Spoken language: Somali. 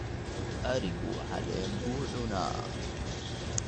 Adhigu caleen buu cunaa.